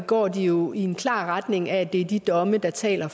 går de jo i en klar retning af at det er de domme der taler